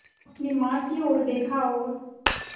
अपनी माँ की ओर देखा और